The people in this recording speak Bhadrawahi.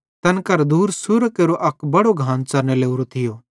तैन केरां दूर सुअरां केरो अक बड़ो घान च़रने लोरो थियो